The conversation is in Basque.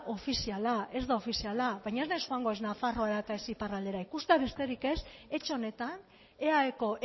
ofiziala ez da ofiziala baina ez naiz joango ez nafarroara eta ez iparraldera ikustea besterik ez etxe honetan eaeko